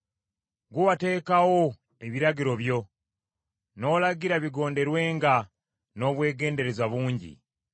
Ggwe wateekawo ebiragiro byo; n’olagira bigonderwenga n’obwegendereza bungi.